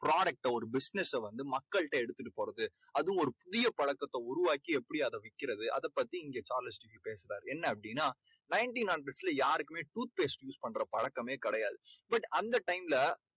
product அ ஒரு business அ வந்து மக்கள்ட எடுத்துட்டு போறது அது ஒரு புதிய பழக்கத்தை உருவாக்கி எப்படி அதை விக்கிறது அதை பத்தி இங்கே சார்லஸ் டிக்கின்ஸ் பேசுறாரு. என்ன அப்படீன்னா ninteen hundreds ல யாருக்குமே tooth paste use பண்ற பழக்கமே கிடையாது.